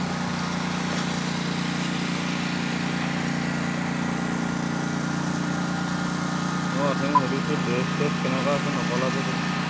আহ উঠনি সুধিছিলো dress চ্ৰেৰ্ছ কেনকা আছে, নকলা যো তুমি